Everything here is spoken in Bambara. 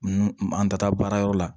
An ta taa baarayɔrɔ la